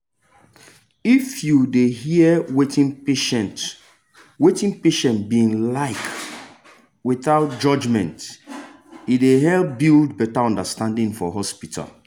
if you dey hear wetin patient wetin patient bin like withouth judgment e dey help build better understanding for hospitals